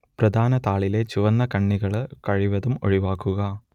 പ്രധാനതാളിലെ ചുവന്നകണ്ണികള് കഴിവതും ഒഴിവാക്കുക